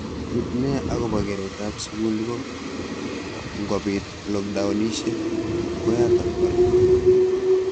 Ki neya akobo keret ab sukul ko ngobit lokdownishek ko yatak kora.